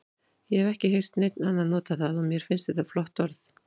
Ég hef ekki heyrt neinn annan nota það og mér finnst þetta flott orð.